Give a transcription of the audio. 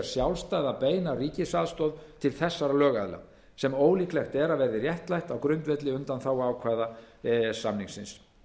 sjálfstæða beina ríkisaðstoð til þessara lögaðila sem ólíklegt er að verði réttlætt á grundvelli undanþáguákvæða e e s samningsins